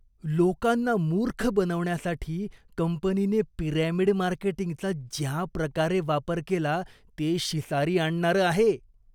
लोकांना मूर्ख बनवण्यासाठी कंपनीने पिरॅमिड मार्केटींगचा ज्या प्रकारे वापर केला ते शिसारी आणणारं आहे.